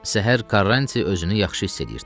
Səhər Qarranti özünü yaxşı hiss eləyirdi.